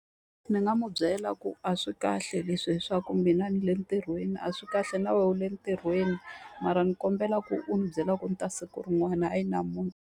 Ndzi nga n'wi byela ku a swi kahle leswi leswaku mina ni le ntirhweni a swi kahle na wena u le ntirhweni. Mara ni kombela ku u n'wi byela ku ni ta siku rin'wana hayi .